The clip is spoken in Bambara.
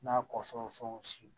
N'a kɔ fɛn fɛn